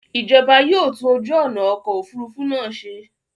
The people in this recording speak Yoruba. Ìjọba yóò tún ojú ọ̀nà ọkọ̀ òfurufú náà ṣe.